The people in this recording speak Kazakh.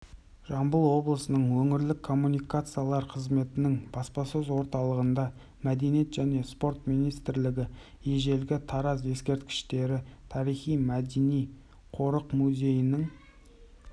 жамбыл облысының өңірлік коммуникациялар қызметінің баспасөз орталығында мәдениет және спорт министрлігі ежелгі тараз ескерткіштері тарихи-мәдени қорық-музейінің